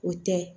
O tɛ